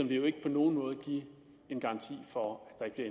vil jo ikke på nogen måde give en garanti for at der